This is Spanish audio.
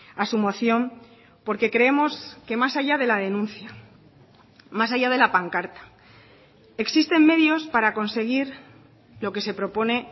a su moción porque creemos que más allá de la denuncia más allá de la pancarta existen medios para conseguir lo que se propone